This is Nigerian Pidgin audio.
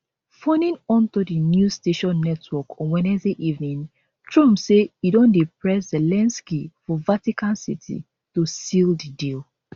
phoning into di newsnation network on wednesday evening trump say e don press zelensky for vatican city to seal di deal